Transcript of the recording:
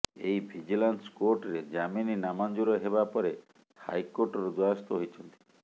ସେ ଭିଜିଲାନ୍ସ କୋର୍ଟରେ ଜାମିନ ନାମଞ୍ଜୁର ହେବା ପରେ ହାଇକୋର୍ଟର ଦ୍ବାରସ୍ଥ ହୋଇଛନ୍ତି